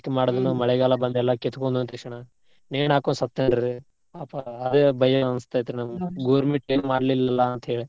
ಮಳೆಗಾಲ ಬಂದ್ ಎಲ್ಲಾ ಕಿತ್ಕೊಂಡ್ ಹೋಯ್ತ್ ಈ ಸಲಾ. ನೇಣ್ ಹಾಕೊಂಡ್ ಸತ್ತ್ಹೋದ್ರಿ ಅದೇ ಭಯ ಅನಿಸ್ತೇತ್ರಿ ನಮ್ಗ government ಏನ್ ಮಾಡ್ಲಿಲ್ಲಲ್ಲಾ ಅಂತೇಳಿ.